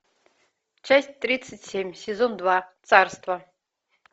часть тридцать семь сезон два царство